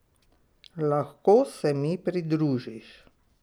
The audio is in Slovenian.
Lahko se mi pridružiš.